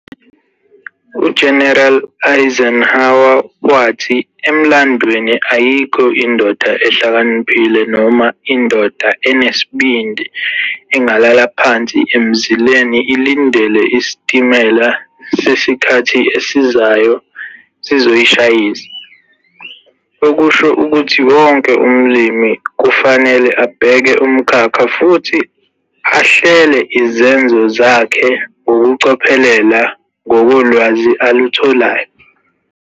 U-General Eisenhower wathi, 'Emlandweni ayikho indoda ehlakaniphile noma indoda enesibindi engalala phansi emzileni ilindele isitimela sesikhathi esizayo sizoyishayisa', okusho ukuthi wonke umlimi kufanele abheke umkhakha futhi ahlele izenzo zakhe ngokucophelela ngokolwazi alutholayo.